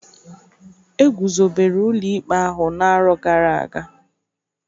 Egwuzobere ụlọ ikpe ahụ n'arọ gara aga.